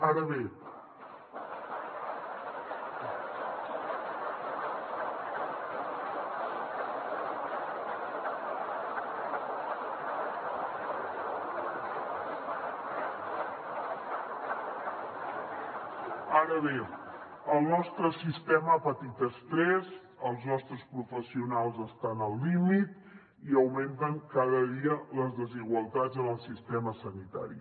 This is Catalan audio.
ara bé el nostre sistema ha patit estrès els nostres professionals estan al límit i augmenten cada dia les desigualtats en el sistema sanitari